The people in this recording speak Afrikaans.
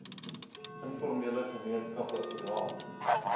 informele gemeenskappe oral